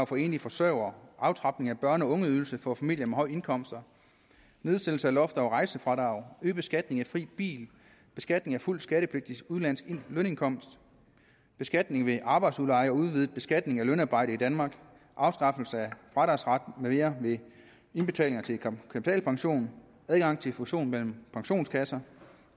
for enlige forsørgere aftrapning af børne og ungeydelse for familier med høje indkomster nedsættelse af loft over rejsefradrag øget beskatning af fri bil beskatning af fuldt skattepligtiges udenlandske lønindkomst beskatning ved arbejdsudleje og udvidet beskatning af lønarbejde i danmark afskaffelse af fradragsret med mere ved indbetaling til kapitalpension adgang til fusion mellem pensionskasser